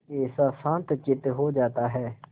कैसा शांतचित्त हो जाता है